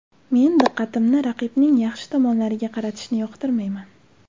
Men diqqatimni raqibning yaxshi tomonlariga qaratishni yoqtirmayman.